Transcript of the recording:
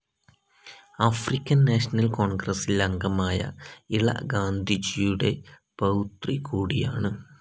African National കോൺഗ്രസ്സിൽ അംഗമായ ഇള ഗാന്ധിജിയുടെ പൌത്രി കൂടിയാണ്.